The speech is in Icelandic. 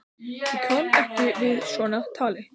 Ég kann ekki við svona tal!